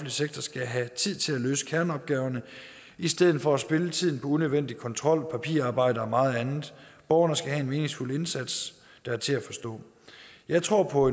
sektor skal have tid til at løse kerneopgaver i stedet for at spilde tiden på unødvendig kontrol papirarbejde og meget andet borgerne skal have en meningsfuld indsats der er til at forstå jeg tror på